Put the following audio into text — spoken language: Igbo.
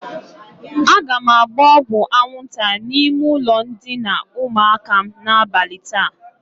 Aga m agba ọgwụ aṅwụnta n'ime ụlọ ndịna ụmụaka m n'abali taa.